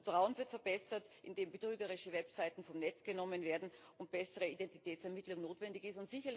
Auch das Vertrauen wird verbessert, indem betrügerische Websites vom Netz genommen werden und bessere Identitätsermittlung notwendig ist.